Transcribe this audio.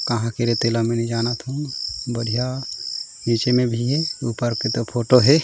कहाँ के रे तेला मैं नइ जानत हो बढ़िया नीचे में भी है ऊपर के त फोटो है।